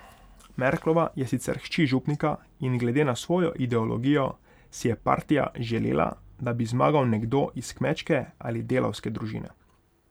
Merklova je sicer hči župnika in glede na svojo ideologijo si je partija želela, da bi zmagal nekdo iz kmečke ali delavske družine.